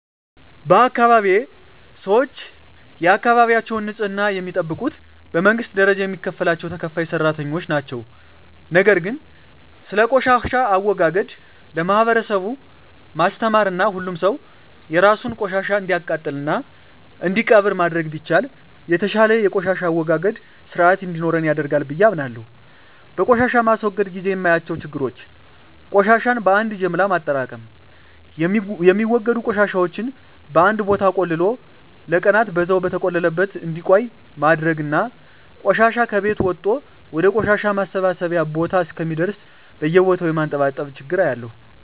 በአካባቢየ ሰወች የአካባቢያቸውን ንጽህና የሚጠብቁት በመንግስት ደረጃ የሚከፈላቸው ተከፋይ ሰራተኞች ነው። ነገር ግን ስለቆሻሻ አወጋገድ ለማህበረሰቡ ማስተማርና ሁሉም ሰው የራሱን ቆሻሻ እንዲያቃጥልና እንዲቀብር ማድረግ ቢቻል የተሻለ የቆሻሻ አወጋገድ ስርአት እንዲኖረን ያደርጋል ብየ አምናለሁ። በቆሻሻ ማስወገድ ግዜ የማያቸው ችግሮች ቆሻሻን በአን ጀምሎ ማጠራቅም፣ የሚወገዱ ቆሻሻወችን በአንድ ቦታ ቆልሎ ለቀናን በዛው በተቆለለበት እንዲቆይ ማድረግና ቆሻሻ ከቤት ወጦ ወደ ቆሻሻ ማሰባሰቢያ ቦታ እስከሚደርስ በየቦታው የማንጠባጠብ ችግር አያለሁ።